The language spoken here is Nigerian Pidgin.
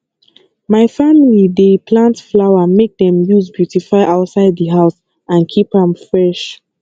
my family dey plant flower make dem use beautify outside di house and keep am fresh